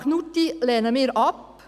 Den Antrag Knutti lehnen wir ab.